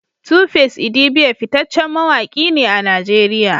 Tuface idibia fitaccen mawaki ne a Najeriya